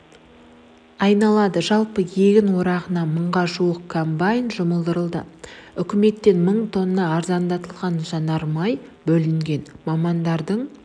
айналады жалпы егін орағына мыңға жуық комбайн жұмылдырылды үкіметтен мың тонна арзандатылған жанармай бөлінген мамандардың